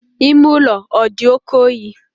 Ime ụlọ ọ dị oke oyi?